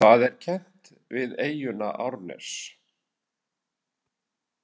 Það er kennt við eyjuna Árnes.